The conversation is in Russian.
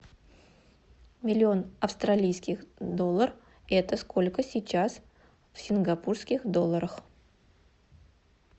миллион австралийских долларов это сколько сейчас в сингапурских долларах